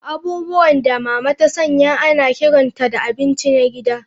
Abubuwan da Mama ta sanya ana kiranta da abinci na gida.